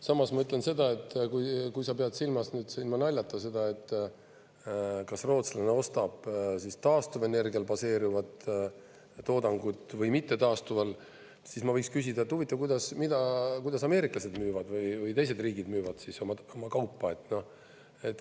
Samas ma ütlen seda, et kui sa pead silmas nüüd ilma naljata seda, kas rootslane ostab taastuvenergial baseeruvat toodangut või mittetaastuval, siis ma võiks küsida, et huvitav, kuidas, mida, kuidas ameeriklased müüvad või teised riigid müüvad siis oma kaupa.